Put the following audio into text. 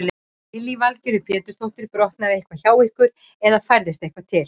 Lillý Valgerður Pétursdóttir: Brotnaði eitthvað hjá ykkur eða færðist eitthvað til?